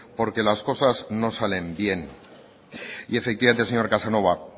porque las cosas no salen bien y efectivamente señor casanova